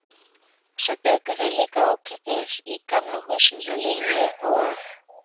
Svo bjuggu þau líka ókeypis í Gamla húsinu hjá Línu og